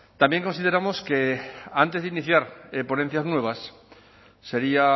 también consideramos que antes de iniciar ponencias nuevas sería